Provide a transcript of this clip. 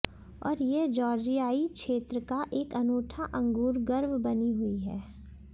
और यह जॉर्जियाई क्षेत्र का एक अनूठा अंगूर गर्व बनी हुई है